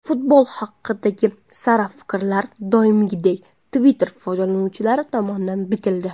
Futbol haqidagi sara fikrlar, doimgidek, Twitter foydalanuvchilari tomonidan bitildi.